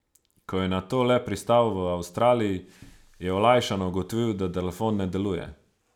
Ko je nato le pristal v Avstraliji, je olajšano ugotovil, da telefon deluje.